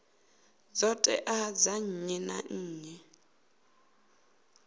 ṱhoḓea dza nnyi na nnyi